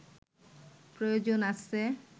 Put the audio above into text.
প্রয়োজন আছে